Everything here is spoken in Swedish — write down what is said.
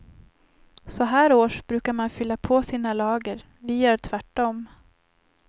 Så här års brukar man fylla på sina lager, vi gör tvärtom.